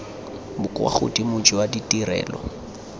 bo kwa godimo jwa ditirelo